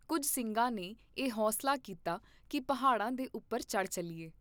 ਕੁੱਝ ਸਿੰਘਾਂ ਨੇ ਇਹ ਹੌਂਸਲਾ ਕੀਤਾ ਕੀ ਪਹਾੜਾਂ ਦੇ ਉਪਰ ਚੜ ਚੱਲੀਏ!